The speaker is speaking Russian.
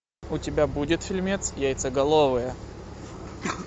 у тебя будет фильмец яйцеголовые